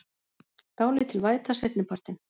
Dálítil væta seinni partinn